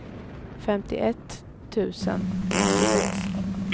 femtioett tusen åttiosex